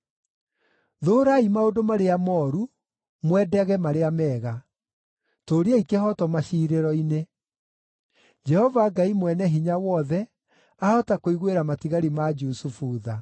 Thũũrai maũndũ marĩa mooru, mwendage marĩa mega; tũũriai kĩhooto maciirĩro-inĩ. Jehova Ngai Mwene-Hinya-Wothe ahota kũiguĩra matigari ma Jusufu tha.